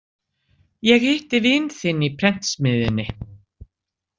Ég hitti vin þinn í prentsmiðjunni